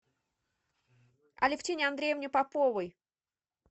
алевтине андреевне поповой